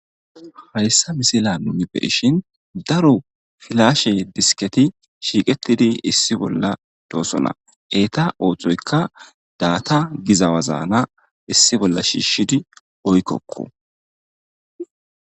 hayssa misila nuni beishin daro filashe disketi shiiqettidi issi bolla doosona eeta oohthoykka daata gizawazaana issi bolla shiishidi oykkokko